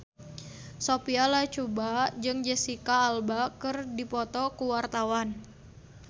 Sophia Latjuba jeung Jesicca Alba keur dipoto ku wartawan